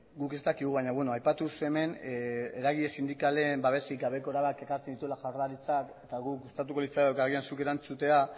guk ez dakigu baina beno aipatuz hemen eragile sindikalen babesik gabeko erabakiak hartzen dituela jaurlaritzak eta guri gustatuko litzaiguke agian zuk erantzutea